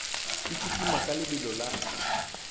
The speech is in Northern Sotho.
e kitima ka lebelo la